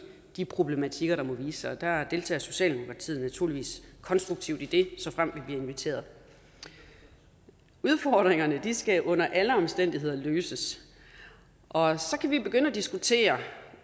de problematikker der måtte vise sig der deltager socialdemokratiet naturligvis konstruktivt i det såfremt vi bliver inviteret udfordringerne skal under alle omstændigheder løses og så kan vi begynde at diskutere